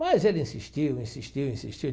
Mas ele insistiu, insistiu, insistiu.